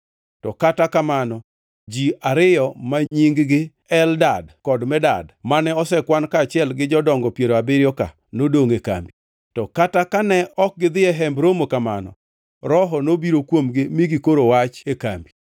Kata kamano, ji ariyo ma nying-gi Eldad kod Medad, mane osekwan kaachiel gi jodongo piero abiriyo-ka nodongʼ e kambi. To kata kane ok gidhi e Hemb Romo kamano, Roho nobiro kuomgi mi gikoro wach e kambi.